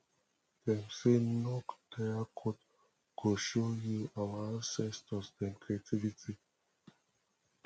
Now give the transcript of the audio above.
dem sey nok terracotta go show you our ancestor dem creativity